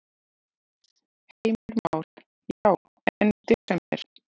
Heimir Már: Já, en í desember?